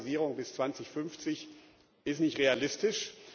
Dekarbonisierung bis 2050 ist nicht realistisch.